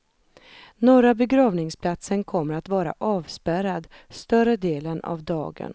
Norra begravningsplatsen kommer att vara avspärrad större delen av dagen.